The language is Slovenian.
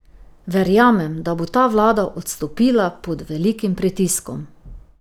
Verjamem, da bo ta vlada odstopila pod velikim pritiskom.